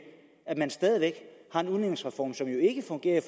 er der en udligningsreform som jo ikke fungerer i